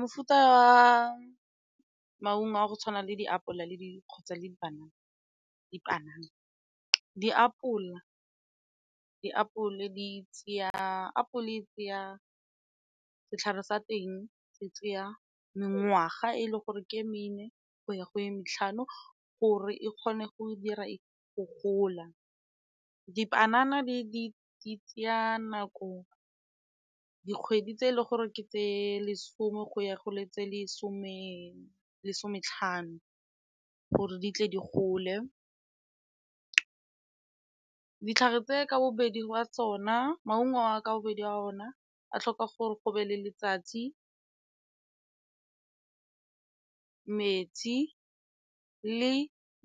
Mofuta wa maungo a go tshwana le diapola le kgotsa dipanana. Diapole di tseya setlhare sa teng se tseya mengwaga e le gore ke e mene go ya go ye matlhano gore e kgone go dira e gola. Dipanana di tsaya nako dikgwedi tse e leng gore ke tse lesome go ya go tse lesometlhano gore di tle di gole. Ditlhare tse ka bobedi wa tsona, maungo a ka bobedi a ona a tlhoka gore go be le letsatsi, metsi le